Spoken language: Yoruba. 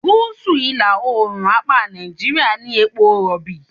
Gúsù ìlà-oòrùn apá Nàìjíríà ní epo Rọ̀bì.